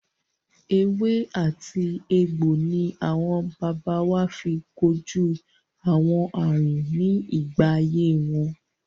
Ewé àti egbò ni àwọn baba wa fi kojú àwọn àrùn ní ìgbà ayé wọn.